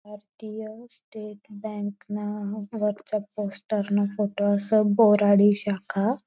भारतीय state bank ना वरच पोस्टर न फोटो अस बोराडी शाखा.